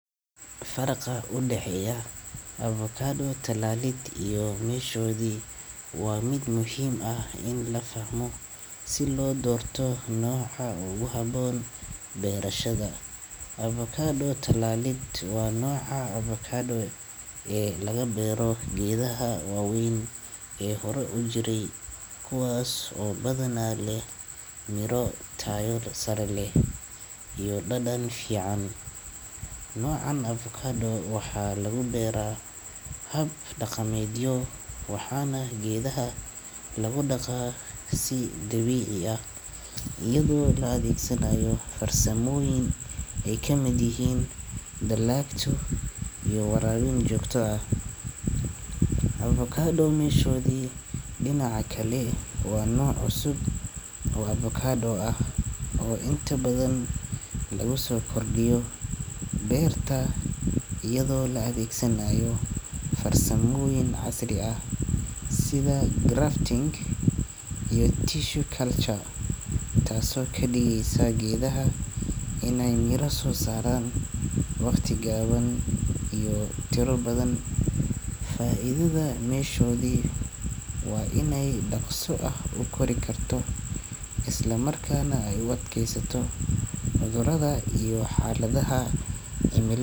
Farqa u dhexeeya, abukaadoo tallaallid iyo meeshoodii waa mid muhiim ah in la fahmo si loo doorto nooca ugu haboon beerashada. Abukaado tallaalidda waa nooc aa abukaado ee laga beero geedaha waaweyn ee hore u jiray kuwaas oo badanaa leh miro taayor-sarreley iyo dhadhan fiican. Nooc aan abukka aad oo waxaa lagu beeraa hab dhaqameedyo waxaana geedaha lagu dhaqaa si dabiici ah. Iyadoo la adeegsanaayo farsamooyin ay ka mid yihiin dallaagto iyo waraar in joogto ah. Abukaado meeshoodi dhinaca kale waa nooc cusub oo abukaado ah oo inta badan loo soo kordhiyo beerta iyadoo la adeegsanaayo farsamoyin casri ah sida grafting iyo tissue culture taaso ka dhigaysa geedaha inay miira soo saaraan wakhti gaaban iyo tiro badan. Faa'iidada meeshoodii waa inay dhaqsu ah u kori karto isla markaana ay wadkeysato mudurada iyo xaaladaha jimilaadeed.